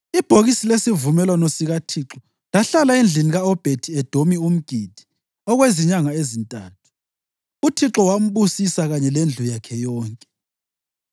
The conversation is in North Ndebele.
Ibhokisi lesivumelwano sikaThixo lahlala endlini ka-Obhedi-Edomi umGithi okwezinyanga ezintathu, uThixo wambusisa kanye lendlu yakhe yonke.